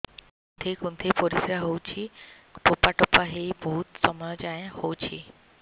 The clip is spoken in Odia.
କୁନ୍ଥେଇ କୁନ୍ଥେଇ ପରିଶ୍ରା ହଉଛି ଠୋପା ଠୋପା ହେଇ ବହୁତ ସମୟ ଯାଏ ହଉଛି